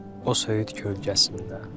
O söyüd kölgəsində.